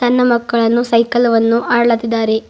ಅನ್ನ ಮಕ್ಕಳನ್ನು ಸೈಕಲ್ ವನ್ನು ಅಡ್ಲಾತ್ತಿದ್ದಾರೆ.